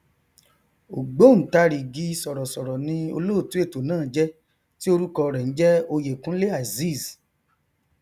ògbóòntarìgì sọrọsọrọ ni olóòtú ètò náà jẹ tí orúkọ rẹ n jẹ oyèkúnlé azeez